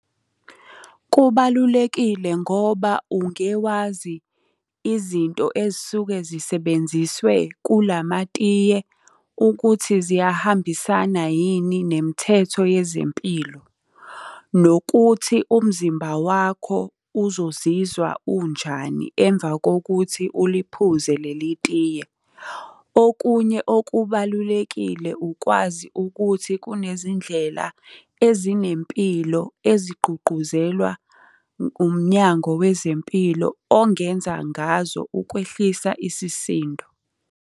Kubalulekile ngoba ungewazi izinto ezisuke zisebenziswe kulamatiye ukuthi ziyahambisana yini nemithetho yezempilo. Nokuthi umzimba wakho uzozizwa unjani emva kokuthi uliphuze leli tiye. Okunye okubalulekile ukwazi ukuthi kunezindlela ezinempilo ezigqugquzelwa uMnyango Wezempilo ongenza ngazo ukwehlisa isisindo.